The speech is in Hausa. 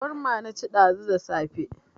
Shawarma na ci ɗazu da safe